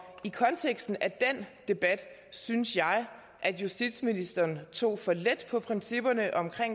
i konteksten af den debat synes jeg at justitsministeren tog for let på principperne om